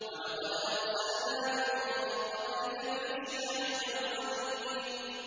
وَلَقَدْ أَرْسَلْنَا مِن قَبْلِكَ فِي شِيَعِ الْأَوَّلِينَ